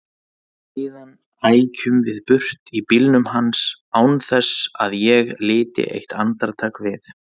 Síðan ækjum við burt í bílnum hans án þess að ég liti eitt andartak við.